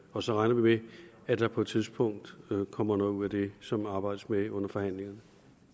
og så regner vi med at der på et tidspunkt kommer noget ud af det som der arbejdes med under forhandlingerne